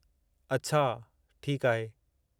अछा! ठीकु आहे।